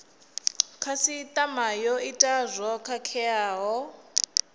khasitama yo ita zwo khakheaho